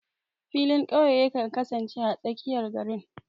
Filin ƙauye yakan kasance a tsakiyar garin.